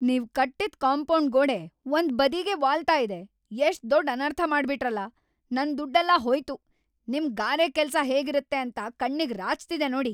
ನೀವ್ ಕಟ್ಟಿದ್ ಕಾಂಪೌಂಡ್ ಗೋಡೆ ಒಂದ್ ಬದಿಗೇ ವಾಲ್ತಾ ಇದೆ - ‌ಎಷ್ಟ್ ದೊಡ್ ಅನರ್ಥ ಮಾಡ್ಬಿಟ್ರಲ್ಲ! ನನ್ ದುಡ್ಡೆಲ್ಲ ಹೋಯ್ತು. ನಿಮ್ ಗಾರೆ ಕೆಲ್ಸ ಹೇಗಿರುತ್ತೆ ಅಂತ ಕಣ್ಣಿಗ್‌ ರಾಚ್ತಿದೆ ನೋಡಿ.